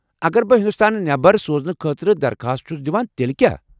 اگر بہٕ ہندوستان نٮ۪بر سوزنہٕ خٲطرٕ درخواست چھُس دِوان تیلہِ کیٛاہ ؟